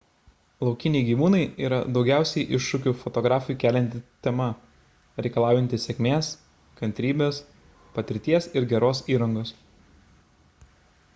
laukiniai gyvūnai yra daugiausiai iššūkių fotografui kelianti tema reikalaujanti sėkmės kantrybės patirties ir geros įrangos